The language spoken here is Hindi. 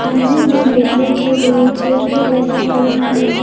सामने में बैठने के लिए चेयर भी लगा हुआ हैं।